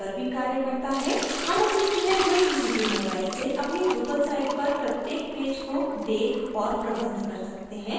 हम अपने चुने हुए किसी भी mobile से अपनी drupal site पर प्रत्येक पेज को देख और प्रबंध कर सकते हैं